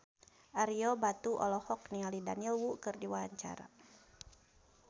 Ario Batu olohok ningali Daniel Wu keur diwawancara